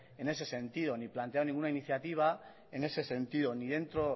en ese sentido ni plantearon ninguna iniciativa en ese sentido